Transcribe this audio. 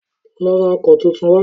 Lọ ra ọkọ́ tuntun wá